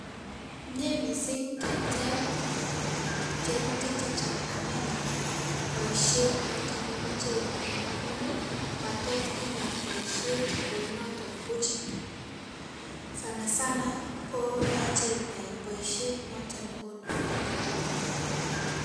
Mie missing' keteb tebutik chechang' amenam boisiet noton nemoche inam amun ii matot inam boisiet kounoton buch sana sana koyoche inai boisiet noton nekonu faida neon.